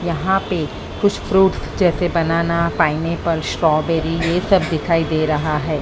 यहां पे कुछ फ्रूट जैसे बनाना पाइनएप्पल स्ट्रॉबेरी ये सब दिखाई दे रहा है।